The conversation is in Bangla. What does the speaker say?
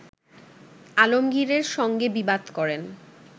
আলমগীরের সঙ্গে বিবাদ করেন